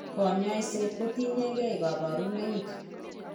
Kanyoiseet kotieng'ee kaborunoik